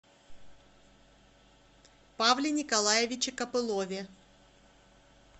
павле николаевиче копылове